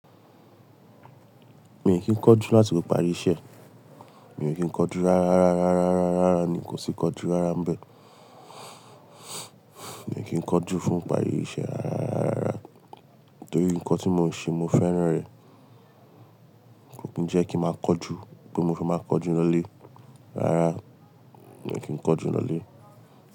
Mi kí ń kọjú láti fi parí iṣẹ́. Mi kí ń kanju rárá, rárá, rárá, rárá, rárá, rárá ni kò sí ikanju rárá mbẹ. Mi kí ń kanju fún ìparí iṣẹ́ rárá, rárá, rárá torí nǹkan tí mò ń ṣe mò ń fẹ́ràn rẹ̀. Kò kí ń jẹ́ kí máa kanju pe mo fi máa kanju lọlé. Rárá, mi ò kí ń kọjú lọlé.